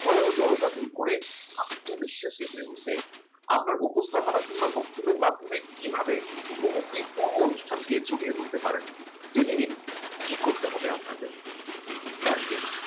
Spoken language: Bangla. ভয় ও জড়তা দূর করে আত্মবিশ্বাসকে চেপে উঠে আপনার উপস্থাপনা কিংবা বক্তৃতার মাধ্যমে কিভাবে মুহূর্তের পূর্ব অনুষ্ঠানকে জমিয়ে তুলতে পারেন জেনে নিন কি করতে হবে আপনাদের